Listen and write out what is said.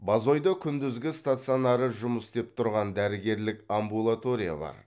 бозойда күндізгі стационары жұмыс істеп тұрған дәрігерлік амбулатория бар